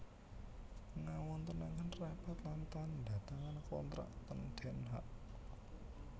Ngawontenaken rapat lan tanda tangan kontrak ten Den Haag